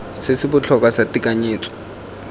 se se botlhokwa sa tekanyetso